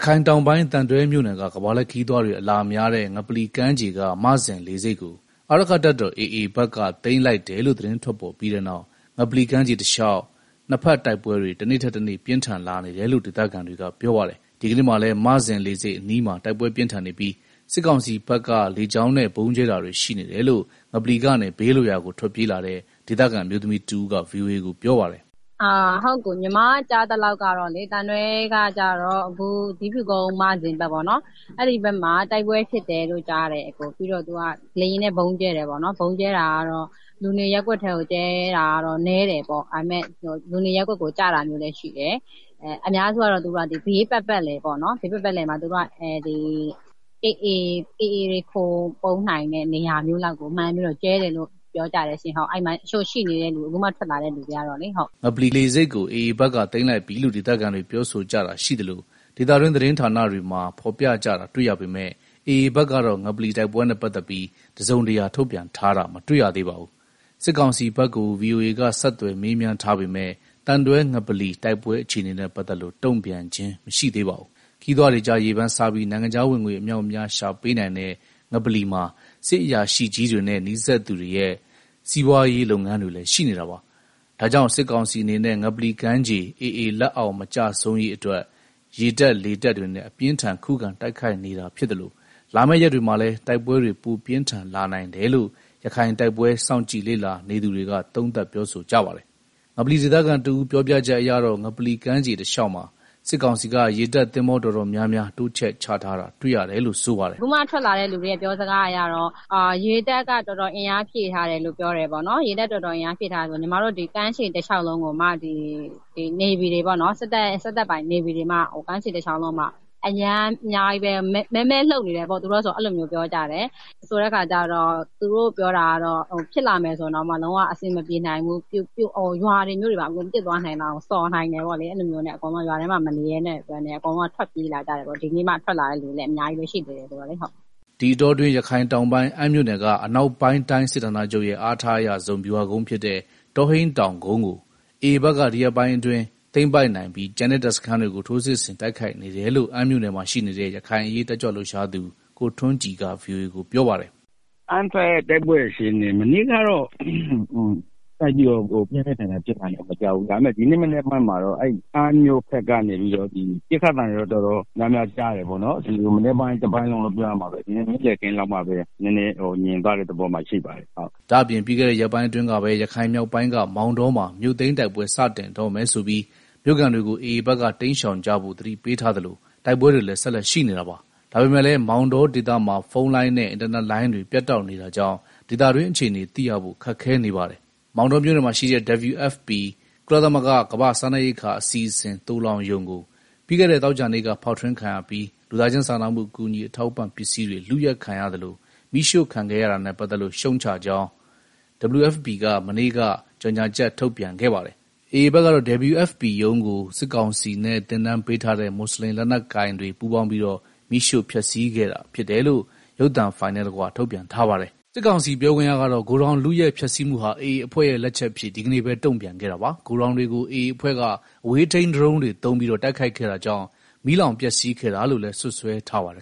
ခိုင်တောင်ပိုင်း သံတွဲမြို့နယ်က ကမ္ဘာလှည့်ခရီးသွားတွေ အလားများတဲ့ ငပလီကမ်းခြေက မဇင်လေဆိပ်ကို အာရက္ခတပ်တော် AA ဘက်က သိမ်းလိုက်တယ်လို့ သတင်းထွက်ပေါ်ပြီးနောက် ငပလီကမ်းခြေတလျှောက် နှစ်ဘက်တိုက်ပွဲတွေ တနေ့ထက်တနေ့ပြင်းထန်လာနေတယ်လို့ ဒေသခံတွေက ပြောပါတယ်။ ဒီကနေ့မှာလည်း မဇင်လေဆိပ်အနီးမှာ တိုက်ပွဲပြင်းထန်နေပြီး စစ်ကောင်စီဘက်က လေကြောင်းနဲ့ဗုံးကြဲတာတွေရှိနေတယ်လို့ ငပလီကနေ ဘေးလွတ်ရာကို ထွက်ပြေးလာတဲ့ ဒေသခံအမျိုးသမီးတဦးက ဗွီအိုအေကို ပြောပါတယ်။ “သံတွဲကကျတော့ အခု ဇီးဖြူကုန်း မဇင်လေဆိပ်ဘက်ပေါ့နော်အဲဒီမှာ တိုက်ပွဲဖြစ်တယ်၊ ပြီးတော့ လေယာဉ်နဲ့ ဗုံးကြဲတယ်၊ ဗုံးကတော့ လူနေရပ်ကွက်ဘက်ကို ကြဲတာနည်းတယ်၊ ဒါပေမယ့် လူနေရပ်ကွက်ကို ကျတာမျိုးလည်းရှိတယ်၊ အများစုကတော့ သူတို့က ဘေးပတ် ပတ်လည်က AAတွေခိုပုန်းနိုင်တဲ့ နေရာမျိုးလောက်ကိုမှန်းပြီးတော့ ကြဲတယ်လို့အခုမှ ထွက် လာတဲ့ သူတွေက ပြောကြတယ်။” ငပလီလေဆိပ်ကို AA ဘက်က သိမ်းလိုက်ပြီလို့ ဒေသခံတွေပြောဆိုကြတာရှိသလို ဒေသတွင်း သတင်းဌာနတွေမှာ ဖော်ပြကြတာတွေ့ရပေမယ့် AA ဘက်ကတော့ ငပလီ တိုက်ပွဲနဲ့ ပတ်သတ်ပြီး တစုံတရာထုတ်ပြန်ထားတာမတွေ့ရသေးပါဘူး။ စစ်ကောင်စီဘက်ကို ဗွီအိုအေက ဆက်သွယ်မေးမြန်းထားပေမဲ့ သံတွဲ ငပလီ တိုက်ပွဲအခြေအနေနဲ့ ပတ်သက်လို့ တုံ့ပြန်ခြင်းမရှိသေးပါဘူး။ ခရီးသွားတွေကြား ရေပန်းစားပြီး နိုင်ငံခြားဝင်ငွေ အမြောက်အများရှာပေးနိုင်တဲ့ ငပလီမှာ စစ်အရာရှိကြီးတွေနဲ့ နီးစပ်သူတွေရဲ့ စီးပွားရေးတွေလည်း ရှိနေတာပါ။ ဒါကြောင့် စစ်ကောင်စီအနေနဲ့ ငပလီကမ်းခြေ AA လက်အောက် မကျဆုံးရေးအတွက် ရေတပ် လေတပ်တွေနဲ့ အပြင်းအထန်ခုခံတိုက်ခိုက်နေတာဖြစ်သလို လာမယ့်ရက်တွေမှာလည်း တိုက်ပွဲတွေ ပိုပြင်းထန်လာနိုင်တယ်လို့ ရခိုင်တိုက်ပွဲ စောင့်ကြည့်လေ့လာနေသူတွေက သုံးသပ် ပြောဆိုကြပါတယ်။ ငလပီဒေသခံတဦးပြောပြချက်အရတော့ ငပလီကမ်းခြေတလျှောက်မှာ စစ်ကောင်စီက ရေတပ်သင်္ဘောတော် တော်များများ တိုးချဲ့ချထားတာတွေ့ရတယ်လို့ ဆိုပါတယ်။ “ အခုမှ ထွက်လာတဲ့ လူတွေရဲ့ ပြောစကားအရတော့ ရေတပ်က တော်တော်အင်အားဖြည့် ထားတယ်လို့ ကြားတယ်၊ ကမ်းခြေလျှောက်လုံးကိုမှ စစ်တပ်ပိုင်နေဗီတွေမှ အများကြီးပဲ။ ဆိုတော့ ဖြစ်လာပြီဆိုရင် ဘယ်လိုမှ အဆင်မပြေနိုင်ဘူး။ ရွာတွေ မြို့တွေ အကုန်ပျက်သွား နိုင်လောက်တယ်ပေါ့လေ၊ အဲဒါကြောင့် ရွာထဲမှာ မနေရဲလို့ ထွက်လာတဲ့သူ တွေအများကြီးရှိ ဒီနေ့မှ ထွက်လာသူတွေလည်းအများကြီးပဲ။” ဒီအတောအတွင်း ရခိုင် တောင်ပိုင်း အမ်းမြို့နယ်က အနောက်ပိုင်းတိုင်းစစ်ဌာနချုပ်ရဲ့ အားထားအရဆုံး ဗျူဟာကုန်းဖြစ်တဲ့ တောဟိန်းတောင်ကုန်းကို AA ဘက်ကဒီရက်ပိုင်းအတွင်း သိမ်းပိုက်နိုင်ပြီး ကျန်တဲ့တပ်စခန်းတွေကို ထိုးစစ်ဆင်တိုက်ခိုက်နေတယ်လို့ အမ်းမြို့နယ်မှာရှိနေတဲ့ ရခိုင်အရေးတက်ကြွလှုပ်ရှားသူ ကိုထွန်းကြည်က ဗွီအိုအေကို ပြောပါတယ်။ “ အမ်းတိုက်ပွဲအခြေအနေကတော့ မနေ့ကတော့ သိပ်ပြီးတော့ ပြင်းပြင်းထန်ထန်ဖြစ်တာ မကြားရဘူး။ ဒါပေမဲ့ ဒီနေ့ မနက်ပိုင်းမှာတော့ အမ်းမြို့ဘက်ကနေပြီးတော့ ပစ်ခတ်သံတွေတော့ တော်တော်များများကြားတယ်ပေါ့နော်၊ မနက်ပိုင်းတပိုင်းလုံးလို့ ပြောရမှာပဲ နေ့လည်ခင်းလောက်မှာပဲ နည်းနည်းငြိမ်သွားတဲ့ သဘောမှာ ရှိပါတယ်။” ဒါ့အပြင် ပြီးခဲ့တဲ့ရက်ပိုင်းအတွင်းကပဲ ရခိုင်မြောက်ပိုင်းက မောင်တောမှာ မြို့သိမ်း တိုက်ပွဲစတင်တော့မယ်ဆိုပြီး မြို့ခံတွေကို AA ဘက်က တိမ်းရှောင်ကြဖို့ သတိပေးထားသလို တိုက်ပွဲတွေလည်း ဆက်လက်ရှိနေတာပါ။ ဒါပေမယ့်လည်း မောင်တောဒေသ မှာဖုန်းလိုင်းနဲ့ အင်တာနက်လိုင်းတွေ ပြတ်တောက်နေတာကြောင့် ဒေသတွင်း အခြေအနေ သိရဖို့ ခက်ခဲနေပါတယ်။ မောင်တောမြို့နယ်မှာရှိတဲ့ WFP ကုလသမဂ္ဂ ကမ္ဘာ့စားနပ်ရိက္ခာ အစီအစဉ် သိုလှောင်ရုံကို ပြီးခဲ့တဲ့ သောကြာနေ့က ဖောက်ထွင်းခံရပြီး လူသားချင်းစားနာမှုအကူအညီအထောက်အပံ့ပစ္စည်းတွေ လုယက်ခံရသလို မီးရှို့ခံခဲ့ရတာနဲ့ပတ်သက်လို့ ရှုတ်ချကြောင်း WFPက မနေ့က ကြေညာချက် ထုန်ပြန်ခဲ့ပါတယ်။ AA ဘက်ကတော့ WFP ရုံးကို စစ်ကောင်စီနဲ့ သင်တန်းပေးထားတဲ့ မွတ်ဆလင်လက်နက်ကိုင်တွေ ပူးပေါင်းပြီးတော့ မီးရှို့ဖျက်စီးခဲ့တာဖြစ်တယ်လို့ ရုပ်သံဖိုင်နဲ့တကွ ထုတ်ပြန်ထားပါတယ်။ စစ်ကောင်စီ ပြောခွင့်ရကတော့ ဂိုဒေါင်လုယက်ဖျက်ဆီးမှုဟာ AA အဖွဲ့ရဲ့ လက်ချက်အဖြစ် ဒီကနေ့ပဲ တုံ့ပြန်ခဲ့တာပါ။ ဂိုဒေါင်တွေကို AA အဖွဲ့က အဝေးထိန်းဒရုန်းတွေသုံး တိုက်ခိုက်ခဲ့တာကြောင့် မီးလောင်ပျက်စီးခဲ့တာလို့လည်း စွပ်စွဲထားပါတယ်